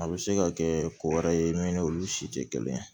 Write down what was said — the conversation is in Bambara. A bɛ se ka kɛ ko wɛrɛ ye min olu si tɛ kelen ye